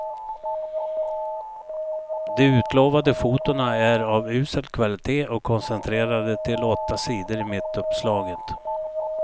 De utlovade fotona är av usel kvalitet och koncentrerade till åtta sidor i mittuppslaget.